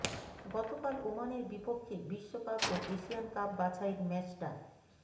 গতকাল ওমানের বিপক্ষে বিশ্বকাপ ও এশিয়ান কাপ বাছাইয়ের ম্যাচটা